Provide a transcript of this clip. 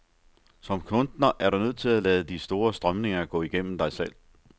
Som kunstner er du nødt til at lade de store strømninger gå igennem dig selv.